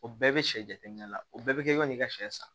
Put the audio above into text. O bɛɛ bɛ sɛ jateminɛ la o bɛɛ bɛ kɛ yan n'i ka sɛ san